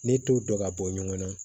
Ne t'o dɔn ka bɔ ɲɔgɔn na